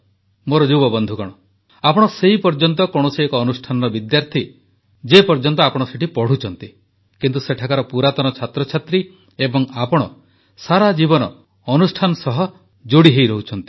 ମୋର ଯୁବବନ୍ଧୁଗଣ ଆପଣ ସେହିପର୍ଯ୍ୟନ୍ତ କୌଣସି ଏକ ଅନୁଷ୍ଠାନର ବିଦ୍ୟାର୍ଥୀ ଯେଉଁପର୍ଯ୍ୟନ୍ତ ଆପଣ ସେଠି ପଢ଼ୁଛନ୍ତି କିନ୍ତୁ ସେଠାକାର ପୁରାତନ ଛାତ୍ରଛାତ୍ରୀ ଏବଂ ଆପଣ ସାରାଜୀବନ ଅନୁଷ୍ଠାନ ସହ ଯୋଡ଼ିହୋଇ ରହୁଛନ୍ତି